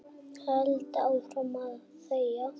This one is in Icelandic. Held áfram að þegja.